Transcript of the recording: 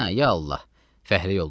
Hə, ya Allah, fəhlə yoldaşlar.